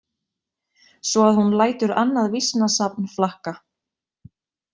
Svo að hún lætur annað vísnasafn flakka.